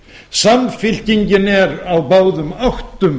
samfylkingin er á báðum áttum